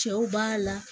Cɛw b'a la